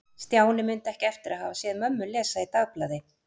Stjáni mundi ekki eftir að hafa séð mömmu lesa í dagblaði.